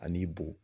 Ani bo